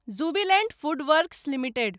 Jubilant FoodWorks limited